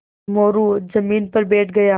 मोरू ज़मीन पर बैठ गया